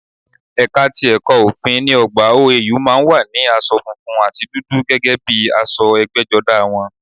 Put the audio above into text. Ẹ̀ka ti ẹ̀kọ̀ òfin ní ọgbà OAU má a ń wọ asọ funfun àti dúdú gẹ́gẹ́ bíi aṣọ ẹgbẹ́jọdá wọn